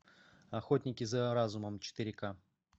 охотники за разумом четыре ка